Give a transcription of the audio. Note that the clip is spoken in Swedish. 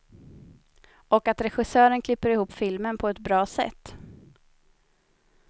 Och att regissören klipper ihop filmen på ett bra sätt.